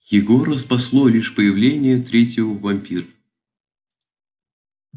егора спасло лишь появление третьего вампира